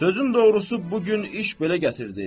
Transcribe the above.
Sözün doğrusu bu gün iş belə gətirdi.